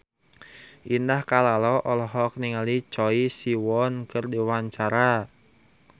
Indah Kalalo olohok ningali Choi Siwon keur diwawancara